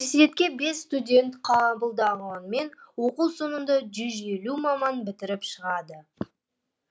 университетке бес студент қабылданғанымен оқу соңында жүз елу маман бітіріп шығады